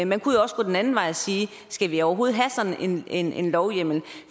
man kunne jo også gå den anden vej og sige skal vi overhovedet have sådan en en lovhjemmel